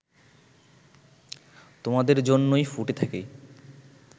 তোমাদের জন্যই ফুটে থাকি